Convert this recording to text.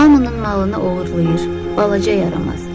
Hamının malını oğurlayır, balaca yaramaz.